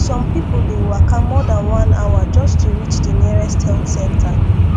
some people dey waka more than one hour just to reach the nearest health center